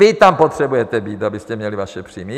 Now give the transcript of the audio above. Vy tam potřebujete být, abyste měli vaše příjmy.